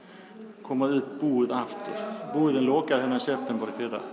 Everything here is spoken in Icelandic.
koma upp búð aftur búðin lokaði hérna í september í fyrra